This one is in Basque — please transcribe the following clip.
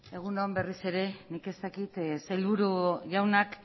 egun on berriz ere nik ez dakit sailburu jaunak